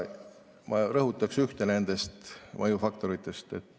Ma rõhutaks ühte nendest mõjufaktoritest.